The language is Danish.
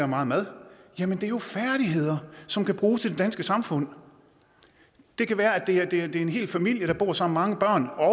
meget mad jamen det er jo færdigheder som kan bruges i det danske samfund det kan være at det er en hel familie der bor sammen mange børn og